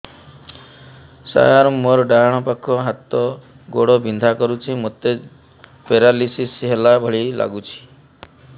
ସାର ମୋର ଡାହାଣ ପାଖ ହାତ ଗୋଡ଼ ବିନ୍ଧା କରୁଛି ମୋତେ ପେରାଲିଶିଶ ହେଲା ଭଳି ଲାଗୁଛି